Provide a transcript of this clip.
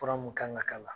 Fura mun kan ka k'a la